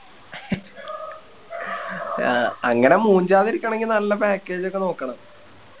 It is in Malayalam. അങ്ങനെ മൂഞ്ചതിരിക്കണെങ്കി നല്ല Package ഒക്കെ നോക്കണം